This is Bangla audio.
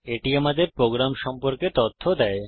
এটি আমাদের প্রোগ্রাম সম্পর্কে তথ্য দেয়